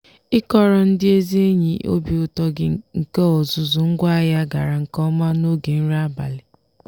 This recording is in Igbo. ịkọrọ ndị ezi enyi obi ụtọ gị nke ọzụzụ ngwaahịa gara nke ọma n'oge nri abalị.